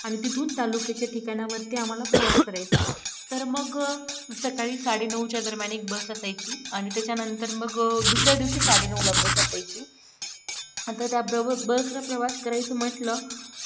आणि तिथून तालुक्याचे ठिकाणावरती आम्हाला प्रवास करायचा तर मग सकाळी साडेनऊच्या दरम्यान एक bus असायची आणि त्याच्यानंतर मग दुसऱ्या दिवशी साडेनऊलाच बस असायची आता त्याबरोबर बसचा प्रवास करायचं म्हटलं